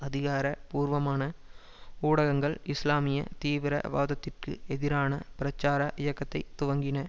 அதிகார பூர்வமான ஊடகங்கள் இஸ்லாமிய தீவிர வாதத்திற்கு எதிரான பிரச்சார இயக்கத்தை துவக்கின